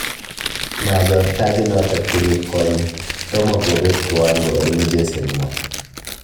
Machoor tajiitnoto kenyit konye, tomo kobeet kiwango eng mcheseenwa